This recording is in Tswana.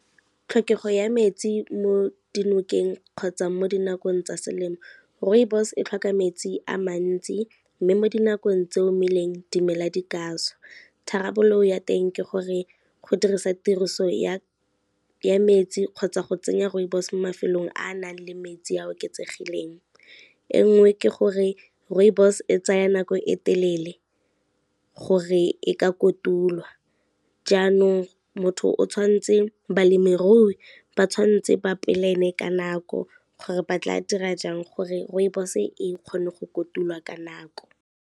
Tlhokego ya metsi mo dinokeng kgotsa mo dinakong tsa selemo, rooibos e tlhoka metsi a mantsi mme mo dinakong tse omileng dimela di ka šwa, tharabololo ya teng ke gore go dirisa tiriso ya metsi kgotsa go tsenya rooibos mafelong a a nang le metsi a a oketsegileng. E ngwe ke gore, rooibos e tsaya nako e telele gore e ka kotulwa jaanong, balemirui ba tshwanetse ba plan-e ka nako gore ba tla dira jang gore rooibos e kgone go kotulwa ka nako.